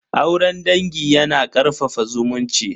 Auren dangi yana karfafa zumunci.